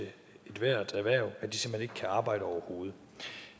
ethvert erhverv at de simpelt hen ikke kan arbejde overhovedet